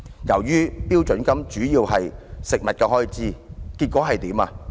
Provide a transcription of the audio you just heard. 由於標準金額主要用於食物開支，結果如何？